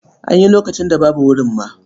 An yi lokacin da babu wurin ma.